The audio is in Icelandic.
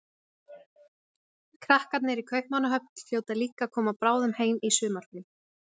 Krakkarnir í Kaupmannahöfn hljóta líka að koma bráðum heim í sumarfrí.